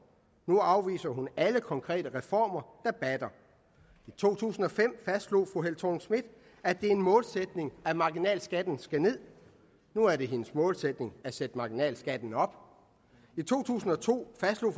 nu afviser hun alle konkrete reformer der batter i to tusind og fem fastslog fru helle thorning schmidt at det er en målsætning at marginalskatten skal nederst nu er det hendes målsætning at sætte marginalskatten op i to tusind og to fastslog